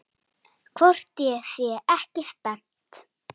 Hvort ég sé ekki spennt?